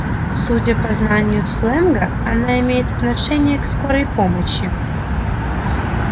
судя по знанию сленга она имеет отношение к скорой помощи